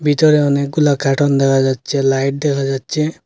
ভিতরে অনেকগুলা কার্টুন দেখা যাচ্ছে লাইট দেখা যাচ্ছে।